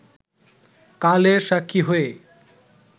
কালের সাক্ষী হয়ে